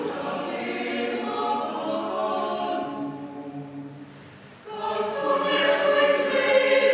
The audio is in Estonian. Tänan kauni muusika eest!